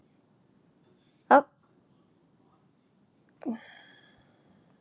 Að því stóðu upphaflega ellefu Evrópuríki ásamt Bandaríkjunum.